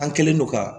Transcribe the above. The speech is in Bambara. An kɛlen don ka